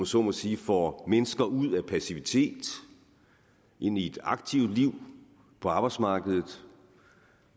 så må sige får mennesker ud af passivitet og ind i et aktivt liv på arbejdsmarkedet